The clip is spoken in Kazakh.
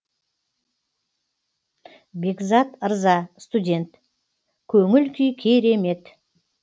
бекзат ырза студент көңіл күй керемет